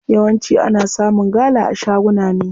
Yawanci ana samun gala a shaguna ne.